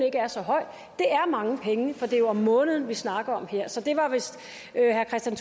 ikke er så høj er mange penge for det er om måneden vi snakker om her så det var vist herre kristian